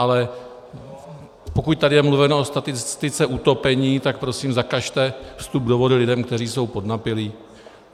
Ale pokud tady je mluveno o statistice utopení, tak prosím zakažte vstup do vody lidem, kteří jsou podnapilí.